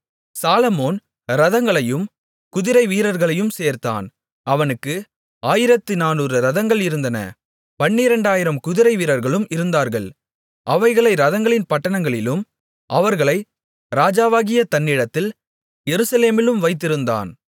சாலொமோன் இரதங்களையும் குதிரைவீரர்களையும் சேர்த்தான் அவனுக்கு ஆயிரத்து நானூறு இரதங்கள் இருந்தன பனிரெண்டாயிரம் குதிரைவீரர்களும் இருந்தார்கள் அவைகளை இரதங்களின் பட்டணங்களிலும் அவர்களை ராஜாவாகிய தன்னிடத்தில் எருசலேமிலும் வைத்திருந்தான்